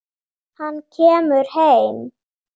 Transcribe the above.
Hann kemur heim.